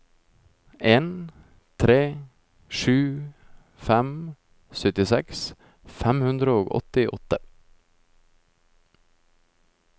en tre sju fem syttiseks fem hundre og åttiåtte